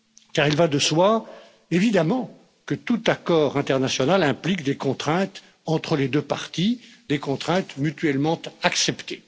Car il va de soi, évidemment, que tout accord international implique des contraintes entre les deux parties, des contraintes mutuellement acceptées.